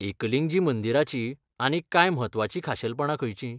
एकलिंगजी मंदिराचीं आनीक कांय म्हत्वाचीं खाशेलपणां खंयचीं?